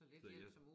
Fået hjælp